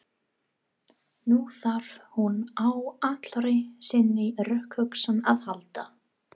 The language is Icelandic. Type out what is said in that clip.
Nú þarf hún á allri sinni rökhugsun að halda.